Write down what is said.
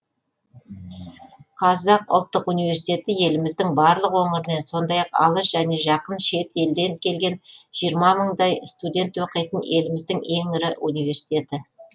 қазақ ұлттық университет еліміздің барлық өңірінен сондай ақ алыс және жақын шет елден келген жиырма мыңдай студент оқитын еліміздің ең ірі университеті